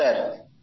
হ্যাঁ স্যার